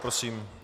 Prosím.